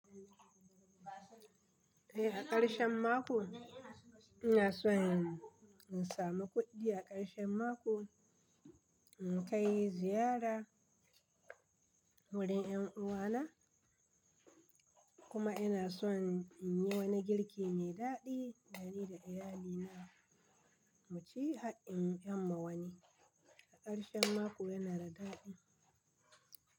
Eh a ƙarshen mako ina so in samu kuɗi, a ƙarshen mako in kai ziyara wurin ƴan uwana kuma ina so in yi wani girki mai daɗi dani da iyalina mu ci har in ƴanma wani. A ƙarshen mako yana da daɗi.